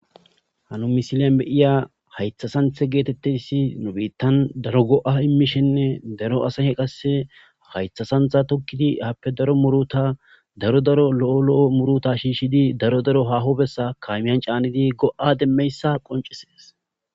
hanu misilen beyiya haythasanthe geetettessi nu biittan daro go7a immishenne daro asahe qasse haythasantha tokkidi happe daro muruta daro daro lo7o lo7o muruta shiishshidi daro daro haho bessa kaamiyan caanidi go7a demmeyssa qoncisees